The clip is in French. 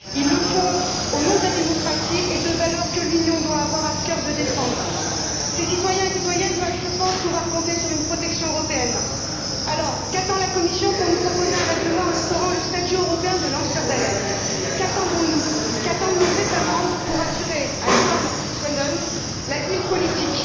Ils le font au nom de la démocratie et de valeurs que l'Union doit avoir à cœur de défendre. Ces citoyennes et citoyens doivent, je pense, pouvoir compter sur une protection européenne. Alors, qu'attend la Commission pour nous proposer un règlement instaurant le statut européen de lanceur d'alerte? Qu'attendons nous? Qu'attendent nos États membres pour assurer à Edward Snowden l'asile politique?